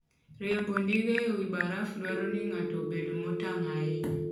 Riembo ndiga e wi baraf dwaro ni ng'ato obed motang' ahinya.